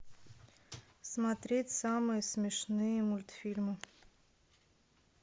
смотреть самые смешные мультфильмы